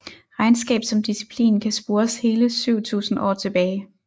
Regnskab som disciplin kan spores hele 7000 år tilbage